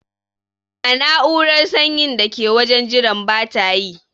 Na'urar sanyin da ke wajen jiran bata yi.